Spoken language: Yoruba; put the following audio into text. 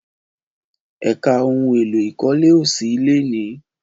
Ẹ̀ka ohun èlò ìkólé ò sí lénìí